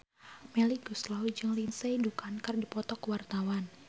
Melly Goeslaw jeung Lindsay Ducan keur dipoto ku wartawan